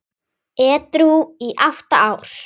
Edrú í átta ár!